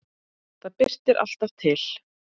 Það birtir alltaf til.